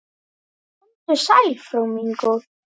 Komdu sæl, frú mín góð.